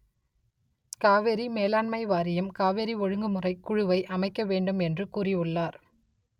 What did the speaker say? காவிரி மேலாண்மை வாரியம் காவிரி ஒழுங்குமுறை குழுவை அமைக்க வேண்டும் என்று கூறியுள்ளார்